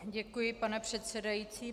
Děkuji, pane předsedající.